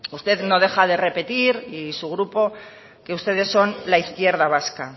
usted no deja de repetir y su grupo que ustedes son la izquierda vasca